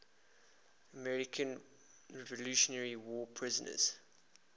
american revolutionary war prisoners